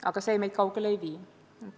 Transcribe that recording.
Aga see meid kaugele ei vii.